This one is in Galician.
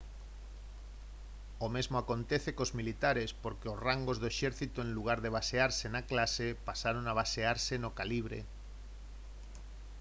o mesmo acontece cos militares porque os rangos do exército en lugar de basearse na clase pasaron a basearse no calibre